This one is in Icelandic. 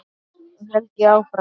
Þá held ég áfram.